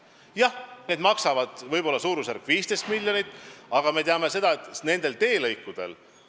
Jah, need maksavad suurusjärgus 15 miljonit, aga me teame, et nendel teelõikudel on sellel sajandil traagilisel moel kahjuks hukkunud mitmeid inimesi.